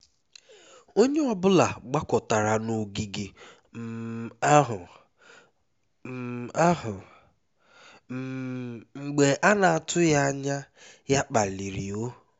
onye ọ bụla gbakọtara n'ogige um ahụ um ahụ um mgbe a na-atụghị anya ya kpaliri ou